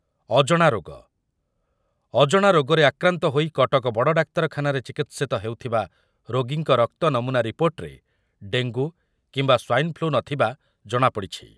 ଅଜଣା ରୋଗ, ଅଜଣା ରୋଗରେ ଆକ୍ରାନ୍ତ ହୋଇ କଟକ ବଡ଼ଡାକ୍ତରଖାନାରେ ଚିକିତ୍ସିତ ହେଉଥିବା ରୋଗୀଙ୍କ ରକ୍ତ ନମୁନା ରିପୋର୍ଟରେ ଡେଙ୍ଗୁ କିମ୍ବା ସ୍ୱାଇନ୍ ଫ୍ଲୁ ନ ଥିବା ଜଣାପଡ଼ିଛି ।